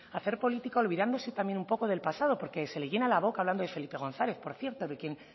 hacer política olvidándose también un poco del pasado porque se le llena la boca hablando de felipe gonzález por cierto de quien